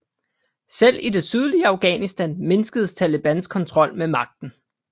Selv i det sydlige Afghanistan mindskedes Talibans kontrol med magten